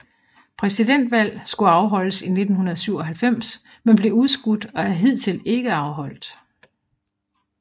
Præsidentvalg skulle afholdes i 1997 men blev udskudt og er hidtil ikke afholdt